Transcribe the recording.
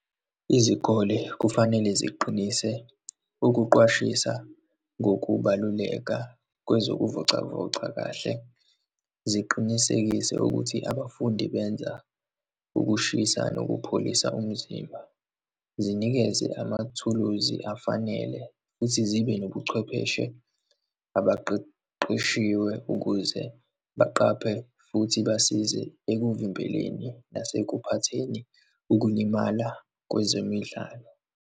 Izikole kufanele ziqinise ukuqwashisa ngokubaluleka kwezokuvocavoca kahle, ziqinisekise ukuthi abafundi benza ukushisa khona nokupholisa umzimba, zinikeze amathuluzi afanele, futhi zibe nobuchwepheshe abaqeqeshiwe ukuze baqaphe, futhi basize ekuvimbeleni nasekuphatheni ukulimala kwezemidlalo.